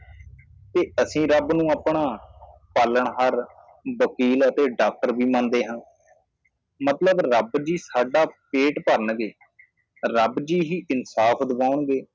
ਤੇ ਅਸੀਂ ਰੱਬ ਨੂੰ ਆਪਣਾ ਪਾਲਣਹਾਰ ਵਕੀਲ ਅਤੇ ਡਾਕਟਰ ਵੀ ਮੰਨਦੇ ਹਾਂ ਮਤਲਬ ਰੱਬ ਜੀ ਸਾਡਾ ਪੇਟ ਭਰਣਗੇ ਰੱਬ ਜੀ ਹੀ ਇਨਸਾਫ਼ ਦਵਾਉਣਗੇ